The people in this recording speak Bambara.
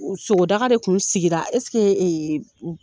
Sogodaga de tun sigira